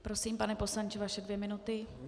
Prosím, pane poslanče, vaše dvě minuty.